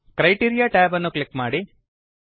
criteria tab ಅನ್ನು click ಮಾಡಿ